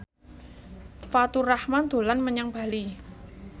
Faturrahman dolan menyang Bali